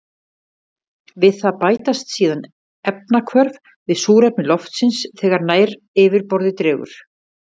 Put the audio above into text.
Við það bætast síðan efnahvörf við súrefni loftsins þegar nær yfirborði dregur.